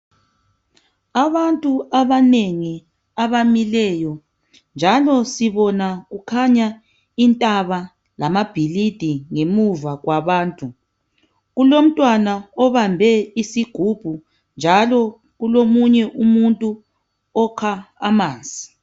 Abantu abanengi abamileyo njalo sibona kukhanya intaba lamabhilidi ngemuva kwabantu. Kulomntwana obambe isigubhu njalo kulomunye umuntu okha amanzi.